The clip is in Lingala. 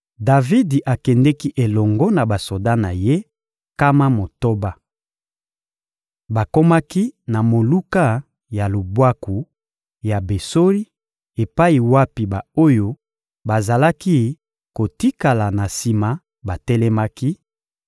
Davidi akendeki elongo na basoda na ye, nkama motoba. Bakomaki na moluka ya lubwaku ya Besori epai wapi ba-oyo bazalaki kotikala na sima batelemaki;